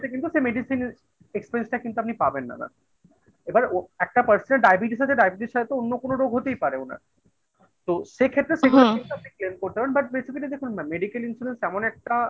কিন্তু সে medicine experience টা কিন্তু আপনি পাবেন না দাদা এবার একটা percent ডায়াবেটিস আছে ডায়াবেটিসের সাথে তো অন্য কোনো রোগ হতেই পারে ওনার। তো সেক্ষেত্রে আপনি claim করতে পারেন but basically দেখুন না medical insurance এমন একটা